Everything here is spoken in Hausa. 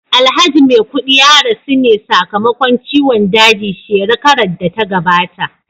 Alhaji maikudi ya rasu ne sa kamakon ciwon daji shekarar data gabata